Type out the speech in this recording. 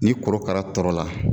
Ni korokara tɔrɔla